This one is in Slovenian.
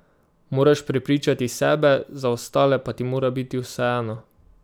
Moraš prepričati sebe, za ostale pa ti mora biti vseeno.